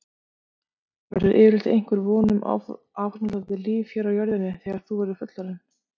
Verður yfirleitt einhver von um áframhaldandi líf hér á jörðinni þegar þú verður fullorðinn?